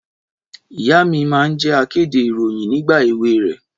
Ìyá mi máa ń jẹ́ akéde ìròyìn nígbà èwe rẹ̀.